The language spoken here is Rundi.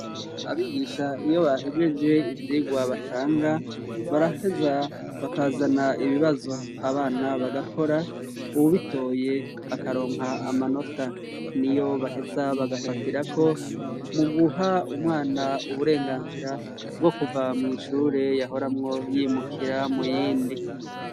Abigisha iyo bahejeje ivyigwa batanga, baraheza bakazana ibibazo abana bagakora, uwubitoye akaronka amanota. Niyo baheza bagafatirako mu guha umwana uburenganzira bwo kuva mw'ishure yahoramwo yimukira mu rindi.